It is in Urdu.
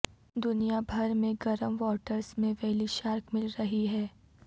دنیا بھر میں گرم واٹرس میں ویلی شارک مل رہے ہیں